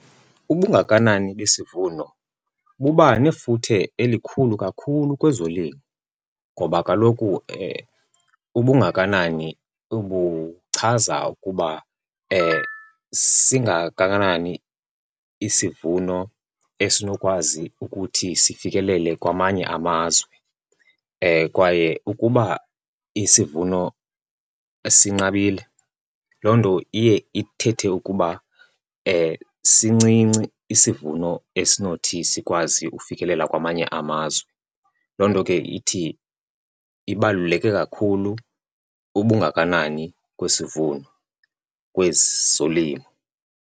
Ubungakanani besivuno buba nefuthe elikhulu kakhulu kwezolimo ngoba kaloku ubungakanani buchaza ukuba singakanani isivuno esinokwazi ukuthi sifikelele kwamanye amazwe. Kwaye ukuba isivuno sinqabile, loo nto iye ithethe ukuba sincinci isivuno esinothi sikwazi ufikelela kwamanye amazwe. Loo nto ke ithi ibaluleke kakhulu ubungakanani kwesivuno kwezolimo.